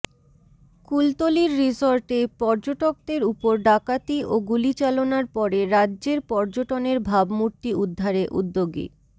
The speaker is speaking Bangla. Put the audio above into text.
কুলতলির রিসর্টে পর্যটকদের উপর ডাকাতি ও গুলিচালনার পরে রাজ্যের পর্যটনের ভাবমূর্তি উদ্ধারে উদ্যোগী